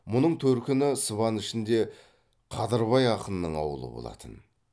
мұның төркіні сыбан ішінде қадырбай ақынның аулы болатын